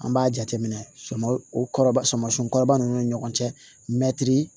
An b'a jateminɛ suman o kɔrɔ suman si kɔrɔba ninnu ni ɲɔgɔn cɛ mɛtiri